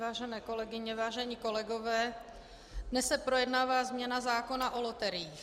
Vážené kolegyně, vážení kolegové, dnes se projednává změna zákona o loteriích.